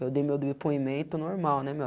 Eu dei meu depoimento normal, né, meu.